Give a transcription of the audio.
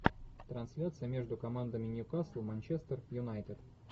трансляция между командами ньюкасл манчестер юнайтед